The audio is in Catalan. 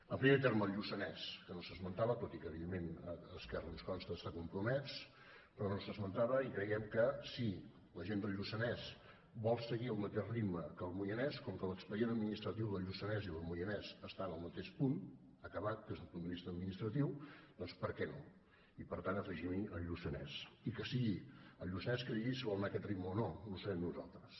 en primer terme el lluçanès que no s’esmentava tot i que evidentment esquerra ens consta s’hi ha compromès però no s’esmentava i creiem que si la gent del lluçanès vol seguir el mateix ritme que el moianès com que l’expedient administratiu del lluçanès i del moianès estan al mateix punt acabat des d’un punt de vista administratiu doncs per què no i per tant afegimhi el lluçanès i que sigui el lluçanès que digui si vol anar a aquest ritme o no no serem nosaltres